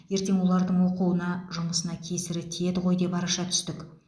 ертең олардың оқуына жұмысына кесірі тиеді ғой деп араша түстік